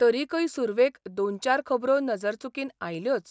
तरिकय सुरवेक दोन चार खबरो नदरचुकीन आयल्योच.